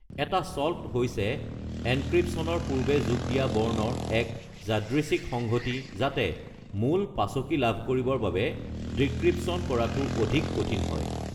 এটা "চল্ট" হৈছে এনক্ৰিপশ্বনৰ পূৰ্বে যোগ দিয়া বৰ্ণৰ এক যাদৃচ্ছিক সংহতি যাতে মূল পাছকি লাভ কৰিবৰ বাবে ডিক্ৰিপচন কৰাটো অধিক কঠিন হয়।